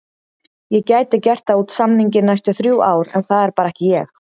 Ég gæti gert það út samninginn næstu þrjú ár en það er bara ekki ég.